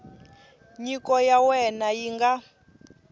nyiko ya wena yi nga